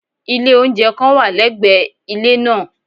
Ilé oúnjẹ kan wà lẹ́gbẹ̀ẹ́ ilé nàà